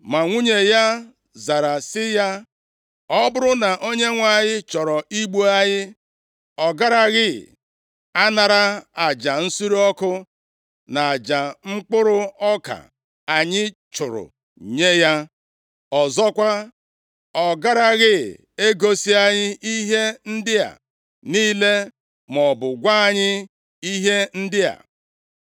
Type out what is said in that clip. Ma nwunye ya zara sị ya, “Ọ bụrụ na Onyenwe anyị chọrọ igbu anyị, ọ garaghị anara aja nsure ọkụ, na aja mkpụrụ ọka anyị chụrụ nye ya. Ọzọkwa, ọ garaghị egosi anyị ihe ndị a niile maọbụ gwa anyị ihe ndị a.”